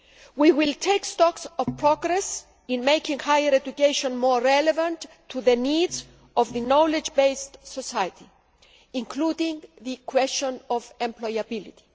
We will take stock of progress in making higher education more relevant to the needs of the knowledge based society, including the question of employability.